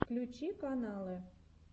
включи каналы